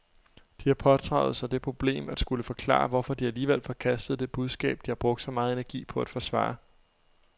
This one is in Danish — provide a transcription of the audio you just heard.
De har pådraget sig det problem at skulle forklare, hvorfor de alligevel forkastede det budskab, de har brugt så meget energi på at forsvare.